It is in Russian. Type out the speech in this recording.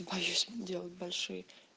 боюсь делать большие